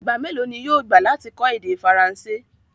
Ìgba mẹlọ̀ ni yóò gbà lati kọ èdè Faransé?